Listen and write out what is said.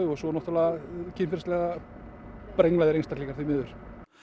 og svo náttúrulega kynferðislega brenglaðir einstaklingar því miður